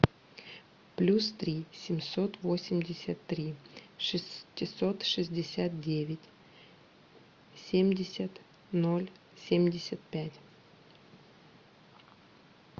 плюс три семьсот восемьдесят три шестьсот шестьдесят девять семьдесят ноль семьдесят пять